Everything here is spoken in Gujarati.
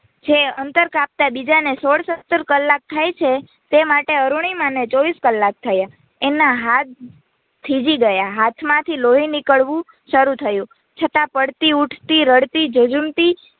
જે અંતર કાપતા બીજાને સોળસત્તર કલ્લાક થાયછે. તેમાટે અરુણીમાને ચોવીસ કલ્લાક થયા, એના હાથ થીજી ગયા, હાથમાંથી લોઈ નિકડવું શરૂ થયું છતાં પડતી, ઉઠતી, રડતી, જજુમતી